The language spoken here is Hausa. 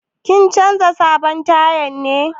Kin canza sabon taya ne?